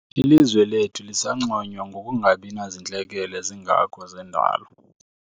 Ilizwe lethu lisanconywa ngokungabi nazintlekele zingako zendalo.